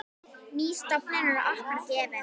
Ný stofnun er okkur gefin.